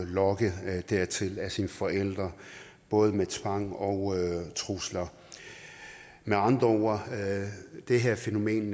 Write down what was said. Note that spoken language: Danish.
lokket dertil af sine forældre både med tvang og trusler med andre ord det her fænomen